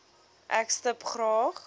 ek stip graag